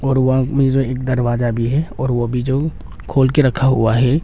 और वहां में जो एक दरवाजा भी है और वो भी जो खोल के रखा हुआ है।